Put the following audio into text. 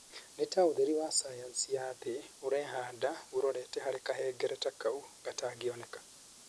Nĩ ta ũtheri wa sayansi ya thĩ . ũrehanda ũrorete harĩ kahengereta kau gatangĩoneka.